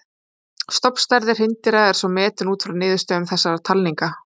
Stofnstærð hreindýra er svo metin út frá niðurstöðum þessara talninga.